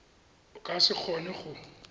o ka se kgone go